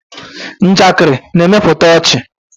Njakịrị na-emepụta ọchị.